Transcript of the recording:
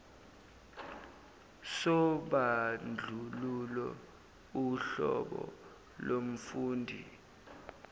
sobandlululo uhlobo lomfundi